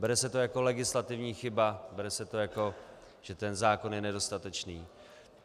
Bere se to jako legislativní chyba, bere se to, jako že ten zákon není dostatečný.